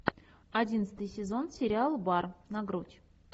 одиннадцатый сезон сериал бар на грудь